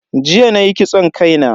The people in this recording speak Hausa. Jiya nayi kitson kai na.